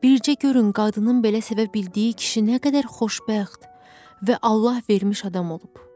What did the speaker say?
Bircə görün qadının belə sevə bildiyi kişi nə qədər xoşbəxt və Allah vermiş adam olub.